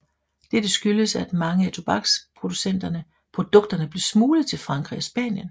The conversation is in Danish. Dette skyldes at mange af tobaksprodukterne blev smuglet til Frankrig og Spanien